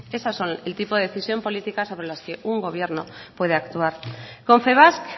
esas son el tipo de decisiones políticas sobre las que un gobierno puede actuar confebask